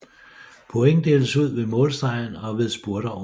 Point deles ud ved målstregen og ved spurter undervejs